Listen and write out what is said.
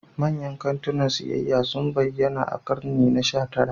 Manyan kantunan siyayya sun bayyana a ƙarni na sha tara.